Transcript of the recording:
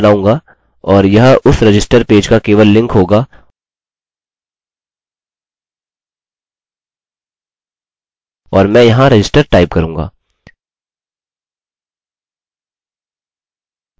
और यह उस रजिस्टर पेज का केवल लिंक होगा और मैं यहाँ register टाइप करूँगा